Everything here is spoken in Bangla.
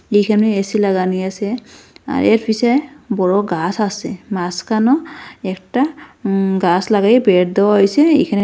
এইখানে এ_সি লাগানি আছে আর এর পিছে বড়ো গাছ আছে মাঝখানেও একটা উম গাছ লাগায়ে বেড় দেওয়া হইছে এইখানে--